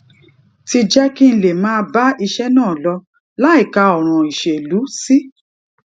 ti jé kí n lè máa bá iṣé náà lọ láìka òràn ìṣèlú sí